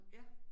Ja